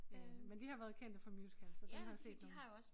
Øh men de har været kendte for musicals så der har jeg set nogle